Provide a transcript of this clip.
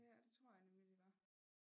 Ja det tror jeg nemlig de var